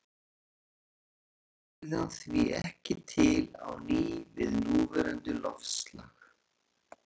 Hyrfi jökullinn yrði hann því ekki til á ný við núverandi loftslag.